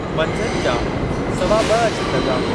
मंझंदि जा सवा ब॒ अची लॻा।